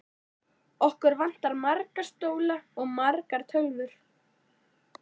Okkur vantar marga stóla og margar tölvur.